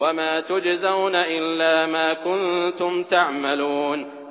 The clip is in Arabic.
وَمَا تُجْزَوْنَ إِلَّا مَا كُنتُمْ تَعْمَلُونَ